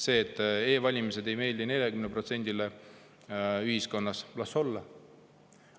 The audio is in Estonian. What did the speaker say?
See, et e-valimised ei meeldi 40%-le protsendile ühiskonnast – las olla!